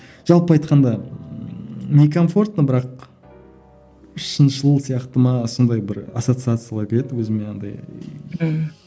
жалпы айтқанда не комфортно бірақ шыншыл сияқты ма сондай бір ассоциациялар келеді өзіме андай ммм